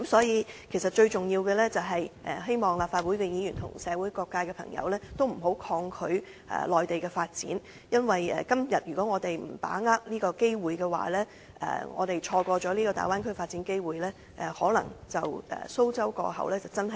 因此，最重要的是，希望立法會議員及社會各界的朋友，不要抗拒內地的發展，因為如果我們今天不把握機會，錯過了大灣區發展機會，可能真的是"蘇州過後無艇搭"......